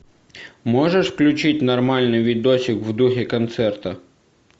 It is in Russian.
можешь включить нормальный видосик в духе концерта